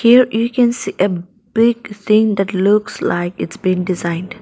here you can see a big thing that looks like it's being designed.